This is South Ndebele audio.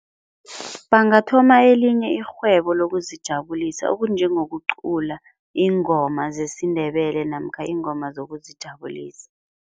Bangathoma elinye irhwebo lokuzijabulisa okunjengokucula iingoma zesiNdebele namkha iingoma zokuzijabulisa.